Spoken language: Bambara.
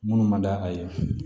Minnu man d'a ye